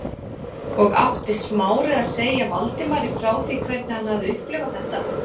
Og átti Smári að segja Valdimari frá því hvernig hann hafði upplifað þetta?